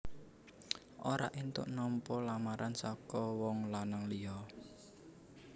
Ora éntuk nampa lamaran saka wong lanang liya